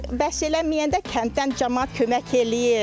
Bəs eləməyəndə kənddən camaat kömək eləyir.